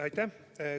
Aitäh!